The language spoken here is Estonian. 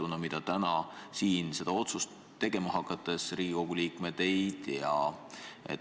Mis kujul, seda täna siin otsust tegema hakkavad Riigikogu liikmed ei tea.